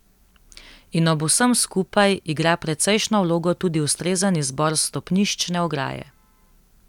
In ob vsem skupaj igra precejšnjo vlogo tudi ustrezen izbor stopniščne ograje.